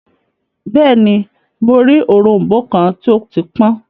Bẹẹni, Mo rii orombo kan ti o ti pọn